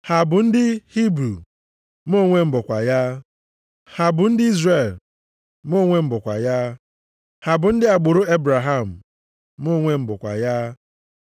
Ha bụ ndị Hibru? Mụ onwe m bụkwa ya. Ha bụ ndị Izrel? Mụ onwe m bụkwa ya. Ha bụ ndị agbụrụ Ebraham? Mụ onwe m bụkwa.